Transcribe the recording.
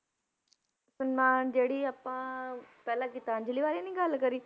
ਸਨਮਾਨ ਜਿਹੜੀ ਆਪਾਂ ਪਹਿਲਾਂ ਗੀਤਾਂਜ਼ਲੀ ਬਾਰੇ ਨੀ ਗੱਲ ਕਰੀ,